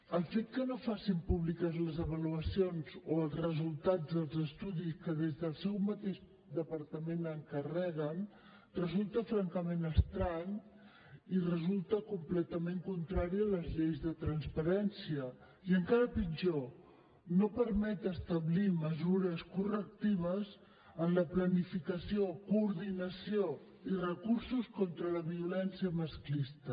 el fet que no facin públiques les avaluacions o els resultats dels estudis que des del seu mateix departament encarreguen resulta francament estrany i resulta completament contrari a les lleis de transparència i encara pitjor no permet establir mesures correctives en la planificació coordinació i recursos contra la violència masclista